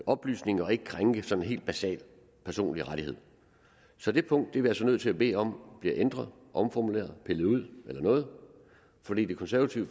oplysninger og ikke krænke sådan helt basale personlige rettigheder så det punkt er vi altså nødt til at bede om bliver ændret omformuleret pillet ud eller noget for det det konservative